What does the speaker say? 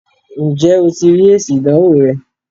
ǹjẹ́ o ti rí èsì ìdánwò rẹ?